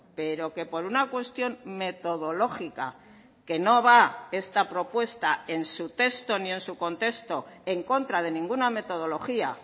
pero que por una cuestión metodológica que no va esta propuesta en su texto ni en su contexto en contra de ninguna metodología